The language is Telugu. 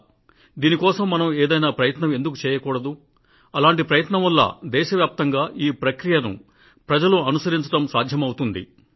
దీని కోసం మనం ఏదైనా ప్రయత్నం ఎందుకు చేయకూడదు ఇది దేశవ్యాప్తంగా అమలు అయ్యేటట్టు మనం చేయగలిగింది ఏమీ లేదా సార్ అంటూ ఆయన మాట్లాడారు